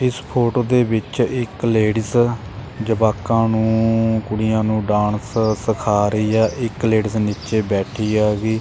ਇਸ ਫੋਟੋ ਦੇ ਵਿੱਚ ਇੱਕ ਲੇਡੀਜ ਜਵਾਕਾਂ ਨੂੰ ਕੁੜੀਆਂ ਨੂੰ ਡਾਂਸ ਸਿਖਾ ਰਹੀ ਆ ਇੱਕ ਲੇਡੀਜ ਨੀਚੇ ਬੈਠੀ ਆ ਵੀ।